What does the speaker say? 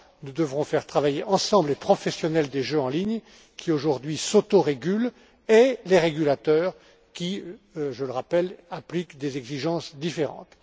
Nous devrons faire travailler ensemble les professionnels des jeux en ligne qui, aujourd'hui, s'autorégulent et les régulateurs qui, je le rappelle appliquent des exigences différentes.